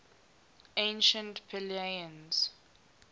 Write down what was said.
ancient pellaeans